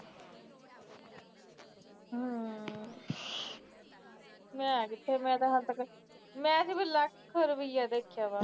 ਮੈ ਕਿਥੇ ਮੈ ਹਾਲੇ ਤੱਕ ਮੈ ਸਿਰਫ ਲੱਖ ਰੁਪੀਆਂ ਦੇਖਿਆਵਾ